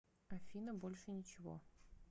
афина больше ничего